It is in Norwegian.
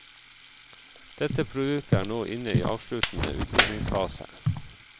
Dette produktet er nå inne i avsluttende utviklingsfase.